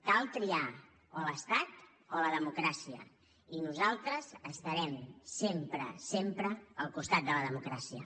cal triar o l’estat o la democràcia i nosaltres estarem sempre sempre al costat de la democràcia